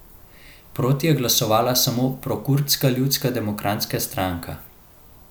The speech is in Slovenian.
Proti je glasovala samo prokurdska Ljudska demokratska stranka.